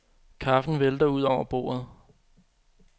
Kaffen vælter ud over bordet.